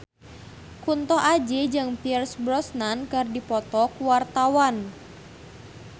Kunto Aji jeung Pierce Brosnan keur dipoto ku wartawan